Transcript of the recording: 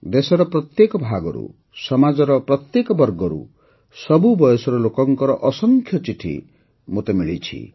ଦେଶର ପ୍ରତ୍ୟେକ ଭାଗରୁ ସମାଜର ପ୍ରତ୍ୟେକ ବର୍ଗରୁ ସବୁ ବୟସର ଲୋକଙ୍କର ଅସଂଖ୍ୟ ଚିଠି ମୋତେ ମିଳିଛି